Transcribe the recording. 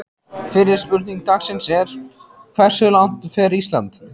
Fyrri spurning dagsins er: Hversu langt fer Ísland?